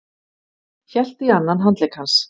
Hélt í annan handlegg hans.